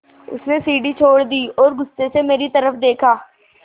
उसने सीढ़ी छोड़ दी और गुस्से से मेरी तरफ़ देखा